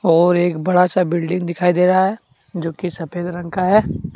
और एक बड़ा सा बिल्डिंग दिखाई दे रहा है जो कि सफेद रंग का है।